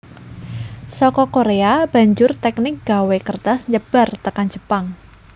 Saka Korea banjur teknik gawé kertas nyebar tekan Jepang